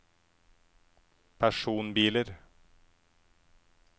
personbiler